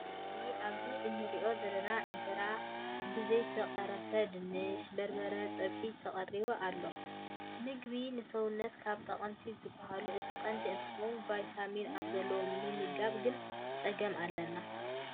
ካብ ዓይነታት ምግቢ ኣብዚ እንሪኦም ዘለና እንጀራ ብዘይተቀረፈ ድንሽ በርበረ ፀብሒን ተቀሪቡ ኣሎ። ምግቢ ንሰውነትና ካብ ጠቀምቲ ዝበሃሉ እቲ ቀንዲ እንተከውን ቫይታሚን ኣብ ዘለዎ ምምጋብ ግን ፀገም ኣለና።